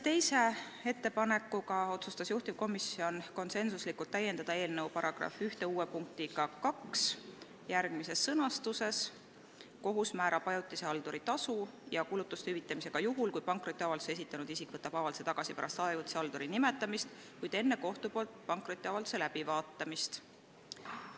Teiseks, komisjon konsensuslikult otsustas täiendada eelnõu § 1 uue punktiga 2 järgmises sõnastuses: "Kohus määrab ajutise halduri tasu ja kulutuste hüvitamise ka juhul, kui pankrotiavalduse esitanud isik võtab avalduse tagasi pärast ajutise halduri nimetamist, kuid enne kohtu poolt pankrotiavalduse läbivaatamist.